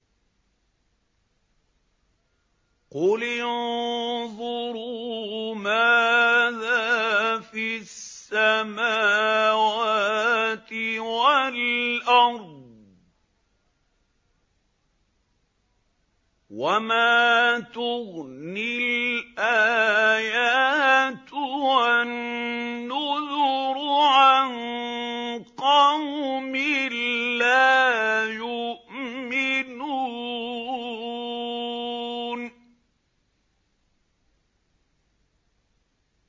قُلِ انظُرُوا مَاذَا فِي السَّمَاوَاتِ وَالْأَرْضِ ۚ وَمَا تُغْنِي الْآيَاتُ وَالنُّذُرُ عَن قَوْمٍ لَّا يُؤْمِنُونَ